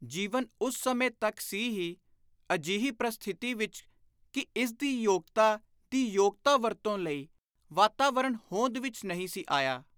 ਜੀਵਨ ਉਸ ਸਮੇਂ ਤਕ ਸੀ ਹੀ ਅਜਿਹੀ ਪ੍ਰਸਥਿਤੀ ਵਿਚ ਕਿ ਇਸ ਯੋਗਤਾ ਦੀ ਯੋਗ ਵਰਤੋਂ ਲਈ ਵਾਤਾਵਰਣ ਹੋਂਦ ਵਿਚ ਨਹੀਂ ਸੀ ਆਇਆ।